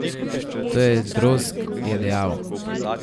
To je drozg, je dejal.